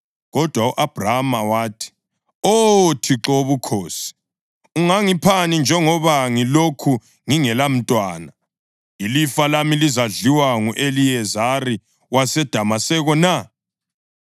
Kodwa u-Abhrama wathi, “Oh Thixo Wobukhosi, ungangiphani njengoba ngilokhu ngingelamntwana, ilifa lami lizadliwa ngu-Eliyezari waseDamaseko na?”